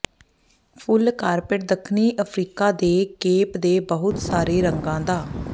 ਫੁੱਲ carpet ਦੱਖਣੀ Africa ਦੇ Cape ਦੇ ਬਹੁਤ ਸਾਰੇ ਰੰਗਾਂ ਦਾ